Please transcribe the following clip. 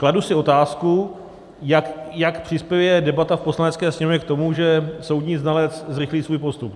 Kladu si otázku, jak přispěje debata v Poslanecké sněmovně k tomu, že soudní znalec zrychlí svůj postup.